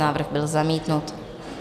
Návrh byl zamítnut.